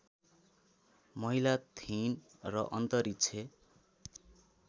महिला थिइन् र अन्तरिक्ष